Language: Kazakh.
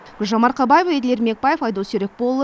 гүлжан марқабаева еділ ермекбаев айдос серікболұлы